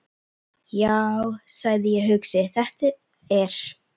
Já, sagði ég hugsi: Þetta er.